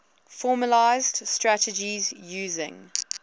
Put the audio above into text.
formalised strategies using